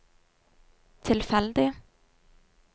tilfeldig